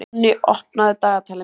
Jonni, opnaðu dagatalið mitt.